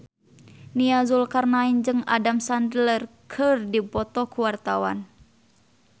Nia Zulkarnaen jeung Adam Sandler keur dipoto ku wartawan